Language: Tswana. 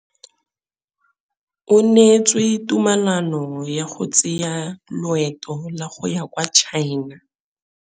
O neetswe tumalanô ya go tsaya loetô la go ya kwa China.